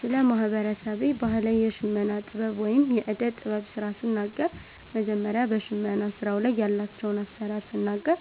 ስለ ማህበረሰቤ ባህላዊ የሽመና ጥበብ ወይም የእደ ጥበብ ስራ ስናገር መጀመሪያ በሸመና ስራዉ ላይ ያላቸዉን አሰራር ስናገር